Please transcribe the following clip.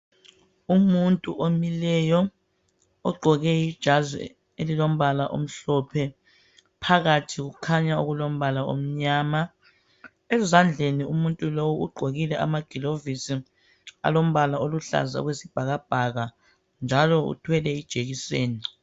Umuntu omileyo ogqoke ijazi elilombala omhlophe. Phakathi kukhanya kulombala omnyama. Ezandleni umuntu lowu ugqokile amaglovisi alombala oluhlaza okwesibhakabhaka njalo uthwele ijekiseni.